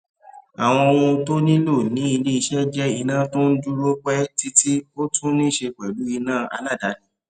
àwọn ohun tó nílò ní ilé iṣé jé iná tó n dúró pé títí ó tún níse pèlú iná aládàáni